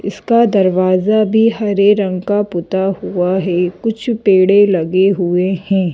इसका दरवाजा भी हरे रंग का पुता हुआ है कुछ पेड़े लगे हुए हैं।